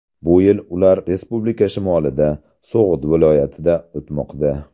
Bu yil ular respublika shimolida, So‘g‘d viloyatida o‘tmoqda.